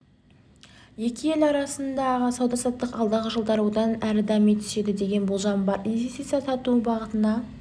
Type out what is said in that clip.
екі ел арасындағы сауда-саттық алдағы жылдары одан әрі дами түседі деген болжам бар инвестиция тарту бағытына